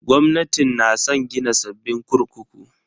Gwamnatin na san gina sabbin kurkuku.